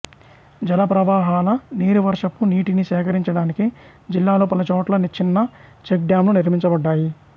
జలప్రవాహాల నీరు వర్షపు నీటిని సేకరించడానికి జిల్లాలో పలుచోట్ల చిన్న చెక్ డామ్లు నిర్మించబడ్డాయి